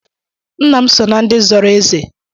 Ńnà m so na ndị zọrọ eze.